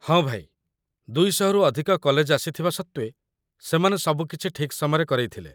ହଁ ଭାଇ, ୨୦୦ରୁ ଅଧିକ କଲେଜ୍ ଆସିଥିବା ସତ୍ତ୍ୱେ ସେମାନେ ସବୁ କିଛି ଠିକ୍‌ ସମୟରେ କରେଇଥିଲେ |